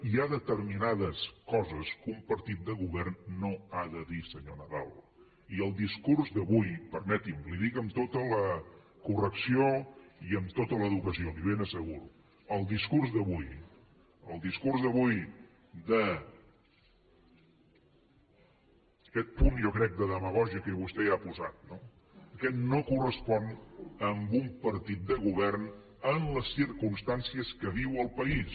hi ha determinades que un partit de govern no ha de dir senyor nadal i el discurs d’avui permeti’m li ho dic amb tota la correcció i amb tota l’educació li ho ben asseguro el discurs d’avui aquest punt jo crec de demagògia que vostè hi ha posat no aquest no correspon a un partit de govern en les circumstàncies que viu el país